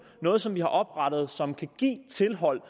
noget som vi har oprettet og som kan give tilhold